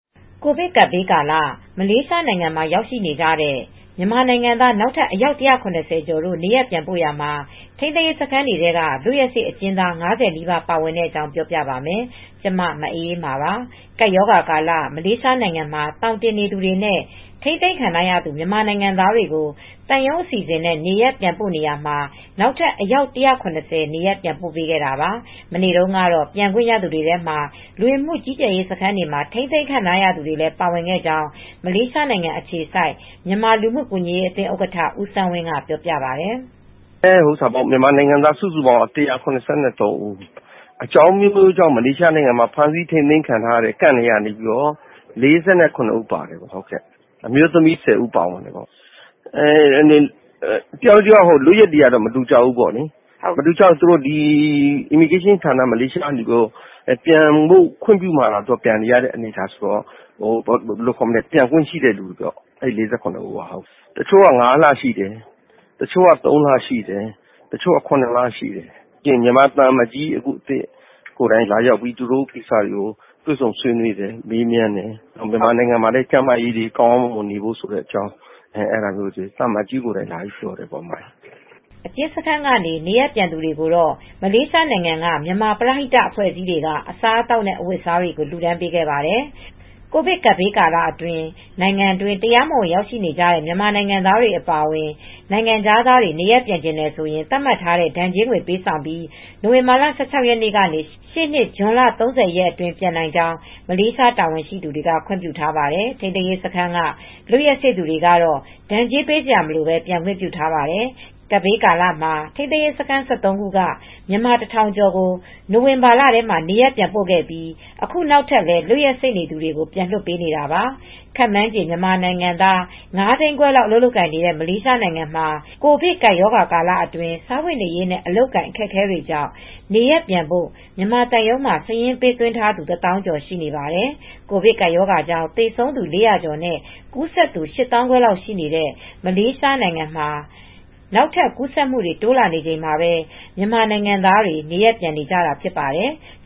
ကိုဗစ်ကပ်ဘေးကာလ မလေးရှားနိုင်ငံမှာရောက်နေကြတဲ့ မြန်မာနိုင်ငံသား နောက်ထပ် အယောက် ၁၇၀ ကျော်ကို နေရပ်ပြန်ပို့ရာမှာ ထိန်းသိမ်းရေးစခန်းတွေထဲက လွတ်ရက်စေ့အကျဉ်းသား ၅၀ နီးပါး ပါဝင်တဲ့အကြောင်း ပြောပြပါမယ်။ ဗွီအိုအေမြန်မာပိုင်း သတင်းထောက် မအေးအေးမာက သတင်းပေးပို့ထားပါတယ်။ ကပ်ရာဂါကာလ မလေးရှားနိုင်ငံမှာ သောင်တင်နေသူတွေနဲ့ ထိန်းသိမ်းခံထားရသူ မြန်မာနိုင်ငံသားတွေကို သံရုံးအစီအစဉ်နဲ့ နေရပ်ပြန်ပို့နေရာမှာ နောက်ထပ်အယောက် ၁၇၀ နေရပ်ပြန်ပို့ခဲ့တာပါ။ မနေ့တုန်းက ပြန်ခွင့်ရသူတွေထဲမှာတော့ လူဝင်မှုကြီးကြပ်ရေး စခန်းတွေမှာ ထိန်းသိမ်းခံခဲ့ရသူတွေလည်း ပါဝင်ခဲ့ကြောင်း မလေးရှားနိုင်ငံအခြေစိုက် မြန်မာလူမူကူညီရေးအသင်းဥက္ကဋ္ဌ ဦးစန်းဝင်းက ပြောပါတယ်။ “မြန်မာနိုင်ငံသားစုစုပေါင်းက ၁၇၃ ဦး အကြောင်းအမျိုးမျိုးကြောင့် ထိန်းသိမ်းရေးစခန်းထဲက ထိန်းသိမ်းထားတဲ့ camp ထဲကသူ ၄၇ ဦးပါတယ်။ အမျိုးသမီးတွေလည်း ၁၀ ဦး ပါတယ်တယောက်နဲ့ တယောက်လွတ်ရက်တွေ မတူကြဘူး။ မလေးရှားလဝက ဌာနက ခွင့်ပြုမှ ပြန်ခွင့်ရကြတာပါ။ အခုပြန်ရတာ အခု ၄၇ ယောက်ကတော့ ပြန်ခွင့်ရတဲ့သူတွေပါ။ တချို့က ၅ လ ထိနေခဲ့ရတယ်။ တချို့လည်း ၃ လ ရှိတယ်။ တချို့က ၇ လထိနေခဲ့ရတယ်။ မြန်မာသံအမတ်ကြီး အသစ်ကိုယ်တိုင်သူတို့ကို လာရောက်တွေ့ဆုံတယ်။ မြန်မာပြည်ပြန်ရောက်ရင်လည်း ကျန်းကျန်းမာမာနေထိုင်ကြဖို့ကို သံအမတ်ကြီးကိုယ်တိုင် လာရောက်ပြောဆိုသွားပါတယ်။” အကျဉ်းစခန်းကနေ နေရပ်ပြန်သူတွေကိုတော့ မလေးရှားနိုင်ငံကမြန်မာပရဟိတအဖွဲ့အစည်းတွေကအစားအသောက်နဲ့ အဝတ်အစားတွေကို လှူဒါန်းပေးခဲ့ပါတယ်။ ကိုဗစ်ကပ်ဘေးကာလမှာ နိုင်ငံတွင်း တရားမဝင်ရောက်ရှိနေတဲ့ မြန်မာနိုင်ငံသားတွေ အပါအဝင် နိုင်ငံခြားသားတွေ နေရပ်ပြန်ချင်တယ်ဆိုရင် သတ်မှတ်ထားတဲ့ ဒဏ်ကြေးငွေ ပေးဆောင်ပြီး နိုဝင်ဘာလ ၁၆ ရက်နေ့ကနေ ရှေ့နှစ် ဇွန်လ ၃၀ အတွင်း ပြန်နိုင်ကြောင်း မလေးရှား တာဝန်ရှိသူတွေက ခွင့်ပြုထားပါတယ်။ ထိန်းသိမ်းရေးစခန်းက လွတ်ရက်စေ့သူတွေကတော့ ဒဏ်ကြေးပေးစရာမလိုဘဲ ပြန်ခွင့်ပြုထားပါတယ်။ ကပ်ရောဂါကာလမှာ ထိမ်းသိမ်းရေးစခန်း ၁၃ ခုက မြန်မာ ၁,၀၀၀ ကျော်ကို နိုဝင်ဘာလထဲမှာ နေရပ်ပြန်ပို့ခဲ့ပြီး အခုနောက်ထပ်လည်း လွတ်ရက်စေ့သူတွေကို ပြန်လွှတ်ပေးနေတာပါ။ ခန့်မှန်းခြေ မြန်မာနိုင်ငံသား ၅၅,၀၀၀ လောက်အလုပ်လုပ်ကိုင်နေတဲ့ မလေးရှားမှာ ကိုဗစ်ကပ်ရောဂါကာလအတွင်း စားဝတ်နေရေးနဲ့ အလုပ်အကိုင် အခက်အခဲတွေကြောင့် နေရပ်ပြန်ဖို့ မြန်မာသံရုံးမှာ စာရင်းပေးသွင်းထားသူ ၁၀,၀၀၀ ကျော်ရှိနေပါတယ်။ ကိုဗစ်ကပ်ရောဂါကြောင့် သေဆုံးသူ ၄၀၀ ကျော်နဲ့ ကူးစက်သူ ၈၅,၀၀၀ လောက် ရှိနေတဲ့ မလေးရှားနိုင်ငံမှာ နောက်ထပ် ကူးစက်မှုတွေ တိုးလာနေချိန်မှာပဲ မြန်မာနိုင်ငံသားတွေ နေရပ်ပြန်နေကြတာလည်း ဖြစ်ပါတယ်။